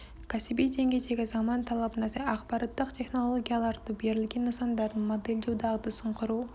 кәсіби деңгейдегі заман талабына сай ақпараттық технологияларды берілген нысандардың модельдеу дағдысын құру